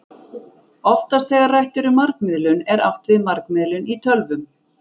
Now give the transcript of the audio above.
Oftast þegar rætt er um margmiðlun er átt við margmiðlun í tölvum.